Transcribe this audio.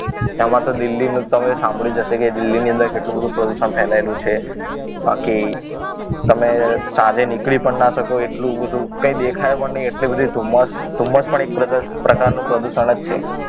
એમાં તો દિલ્હી નું તમે સાંભળ્યું જ હશે કે દિલ્હીની અંદર કેટલું બધું પ્રદૂષણ ફેલાયેલું છે બાકી તમે સાંજે નીકળી પણ ના શકો એટલું બધું કંઈ દેખાય પણ નહીં એટલી બધી ધુમ્મસ ધુમ્મસ એ પણ એક પ્રકારનું પ્રદૂષણ જ છે